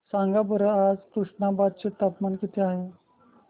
सांगा बरं आज तुष्णाबाद चे तापमान किती आहे